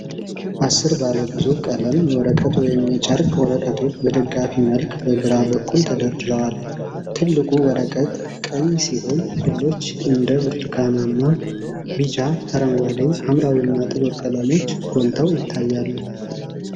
አሥር ባለ ብዙ ቀለም የወረቀት ወይም የጨርቅ ወረቀቶች በደጋፊ መልክ በግራ በኩል ተደራርበዋል። ትልቁ ወረቀት ቀይ ሲሆን ሌሎች እንደ ብርቱካናማ፣ ቢጫ፣ አረንጓዴ፣ ሐምራዊና ጥቁር ቀለሞች ጎልተው ይታያሉ።